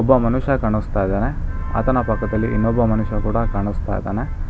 ಒಬ್ಬ ಮನುಷ್ಯ ಕಾಣಿಸ್ತಾ ಇದ್ದಾನೆ ಆತನ ಪಕ್ಕ ಇನ್ನೊಬ್ಬ ಮನುಷ್ಯ ಕೂಡ ಕಾಣಿಸ್ತಾ ಇದ್ದಾನೆ.